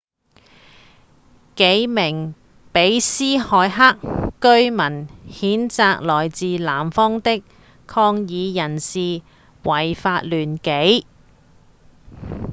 幾名比斯凱克居民譴責來自南方的抗議人士違法亂紀